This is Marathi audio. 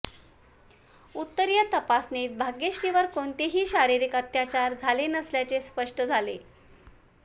उत्तरीय तपासणीत भाग्यश्रीवर कोणतेही शारीरिक अत्याचार झाले नसल्याचे स्पष्ट झाले